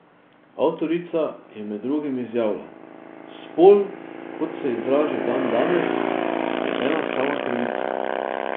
Avtorica je med drugim izjavila: "Spol, kot se izraža dandanes, je ena sama krivica.